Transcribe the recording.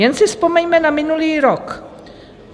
Jen si vzpomeňme na minulý rok.